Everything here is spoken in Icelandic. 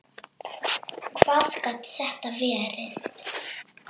Hver gat þetta verið?